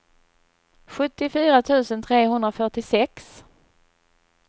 sjuttiofyra tusen trehundrafyrtiosex